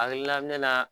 A hakilina mɛn na